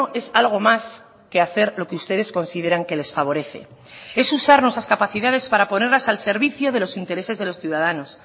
es algo más que hacer lo que ustedes consideran que les favorece es usar nuestras capacidades para ponerlas al servicio de los intereses de los ciudadanos